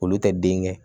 Olu tɛ den kɛ